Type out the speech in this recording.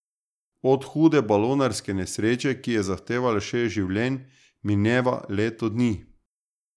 Od hude balonarske nesreče, ki je zahtevala šest življenj, mineva leto dni.